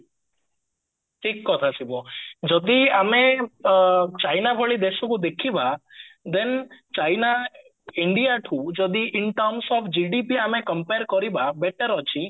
ଠିକ କଥା ଶିବ ଯଦି ଆମେ ଚାଈନା ଭଳି ଦେଶକୁ ଦେଖିବା then ଚାଈନା indiaଠୁ ଯଦି in terms of GDP ଆମେ compare କରିବା better ଅଛି